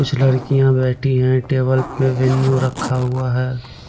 कुछ लड़कियाँ बैठी है टेबल पे मेनू रखा हुआ है।